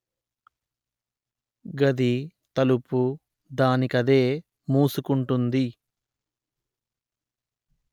గది తలుపు దానికదే మూసుకుంటుంది